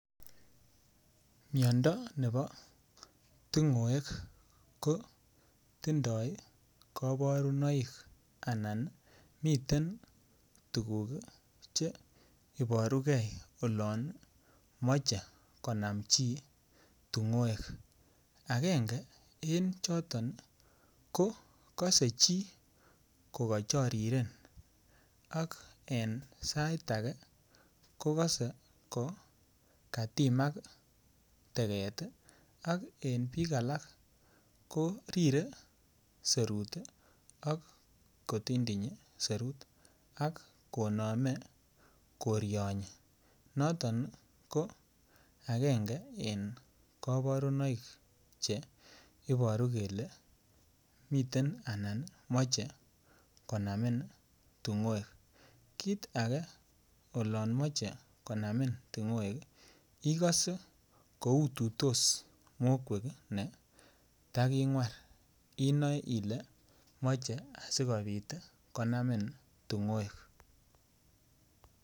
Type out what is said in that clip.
Miondo nebo tung'wek kotindoi koborunoik anan miten tuguk cheiburugei olon mochei konam chi tung'wek agenge eng' choton ko kosei chi kokachariren ak eng' sait age ko kosei kokatimak teget ak eng' biik alak korire serut ak kotindinyi serut ak konamei korionyi noton ko agenge eng' koborunoik che iboru kele miten anan moche konamin tung'wek kiit age olonmochei konamin tung'wek ikose koutitos mokwek netaking'war inoe ile moche asikobit konamin tung'wek